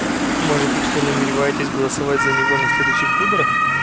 может быть вы намереваетесь голосовать за него на следующих выборах